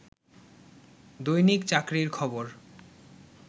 দৈনিক চাকরির খবর